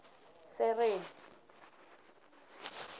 sereni